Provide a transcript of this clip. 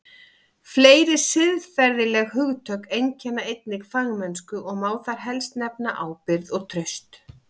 Fleiri siðferðileg hugtök einkenna einnig fagmennsku og má þar helst nefna ábyrgð og traust.